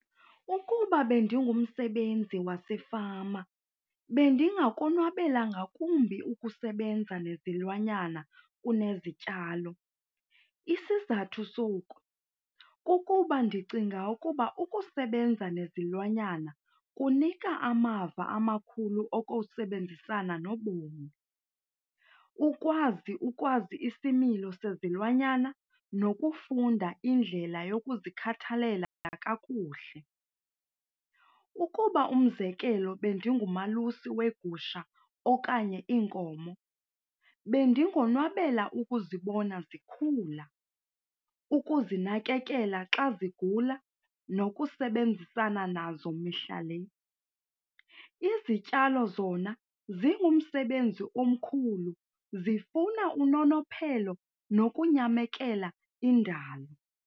Ukuba bendingumsebenzi wasefama bendingakonwabela ngakumbi ukusebenza nezilwanyana kunezityalo. Isizathu soku kukuba ndicinga ukuba ukusebenza nezilwanyana kunika amava amakhulu okusebenzisana nobomi. Ukwazi ukwazi isimilo sezilwanyana nokufunda indlela yokuzikhathalela kakuhle. Ukuba umzekelo bendingumalusi weegusha okanye iinkomo, bendingonwabela ukuzibona zikhula, ukuzinakekela xa zigula nokusebenzisana nazo mihla le. Izityalo zona zingumsebenzi omkhulu zifuna unonophelo nokunyamekela indalo.